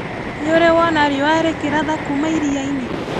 Nĩũrĩ wona riũa rĩkĩratha kuma irianĩ?